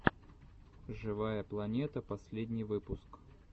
живая планета последний выпуск